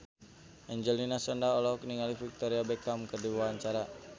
Angelina Sondakh olohok ningali Victoria Beckham keur diwawancara